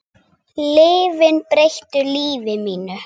Lyfin breyttu lífi mínu.